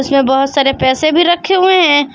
जो बहोत सारे पैसे भी रखे हुए हैं।